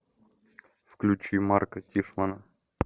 включи марка тишмана